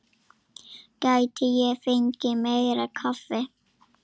Gæti ég fengið meira kaffi?